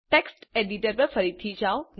text editor પર ફરીથી જાઓ